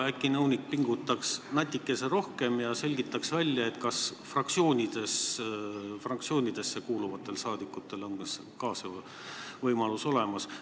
Ja äkki nõunik pingutaks natuke veel ja selgitaks välja, kas fraktsioonidesse kuuluvatel saadikutel on ka see võimalus olemas.